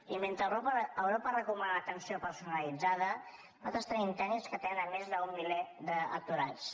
i mentre europa recomana atenció personalitzada nosaltres tenim tècnics que atenen més d’un miler d’aturats